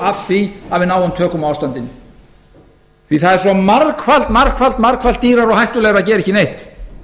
af því að við náum tökum á ástandinu því það er svo margfalt margfalt dýrara og hættulegra að gera ekki neitt